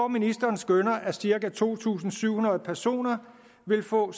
ministeren skønner at cirka to tusind syv hundrede personer vil få